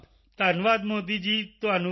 ਧੰਨਵਾਦ ਮੋਦੀ ਜੀ ਤੁਹਾਨੂੰ ਵੀ